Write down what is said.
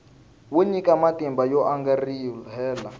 wo nyika matimba yo angarhela